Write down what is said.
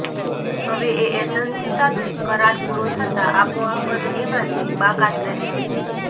હવે એ એજન્સી સાથે કરાર પૂરો થતાં આપોઆપ જ એમાંથી બાકાત રહેશે